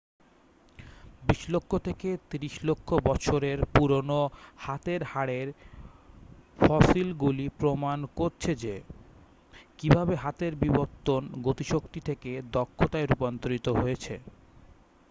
20 লক্ষ থেকে 30 লক্ষ বছরের পুরনো হাতের হাড়ের ফসিলগুলি প্রমাণ করছে যে কীভাবে হাতের বিবর্তন গতিশক্তি থেকে দক্ষতায় রূপান্তরিত হয়েছে